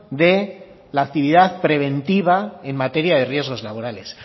de la actividad preventiva en materia de riesgos laborales